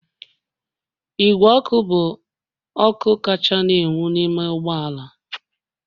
Igwe ọkụ bụ ọkụ kacha na-enwu n'ime ụgbọ ala